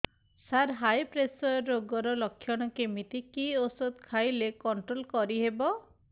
ସାର high pressure ରୋଗର ଲଖଣ କେମିତି କି ଓଷଧ ଖାଇଲେ କଂଟ୍ରୋଲ କରିହେବ